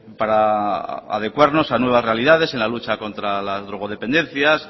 para adecuarnos a nuevas realidades en la lucha contra las drogodependencias